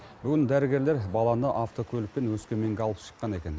бүгін дәрігерлер баланы автокөлікпен өскеменге алып шыққан екен